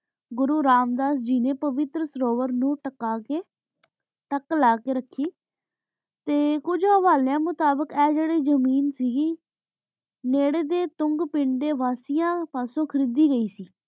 ਘੁਰੁ ਰਾਮ ਦਾ ਜਿਏਯ ਪਾਵੇਟਰ ਘੁਰੁਹਰ ਨੂ ਟਿਕਾ ਕੀ ਤਕ ਲਾ ਕੀ ਰਾਖੀ ਟੀ ਕੁਛ ਹਾਵਾਲੇਯਾ ਮੁਤਾਬਿਕ ਆਯ ਜੀਰੀ ਜ਼ਮੀਨ ਸੇ ਗੀ ਨਿਰੀ ਦਯਾਨ ਤੁਂਘ ਪੰਦੁਨ ਵਾਸੀ ਆਂ ਵਾਸੀਆਂ ਵਲੂੰ ਖਰੀਦੀ ਗੀ ਸੇ